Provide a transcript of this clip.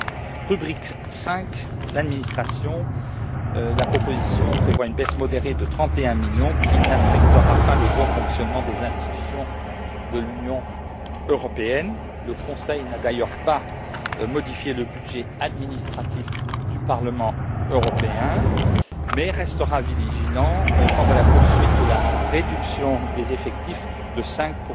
Dans la rubrique 5 administration, la proposition prévoit une baisse modérée de 31 millions qui ne nuira pas au bon fonctionnement des institutions de l'Union européenne. Le Conseil n'a d'ailleurs pas modifié le budget administratif du Parlement européen, mais restera vigilant quant à la poursuite de la réduction des effectifs de 5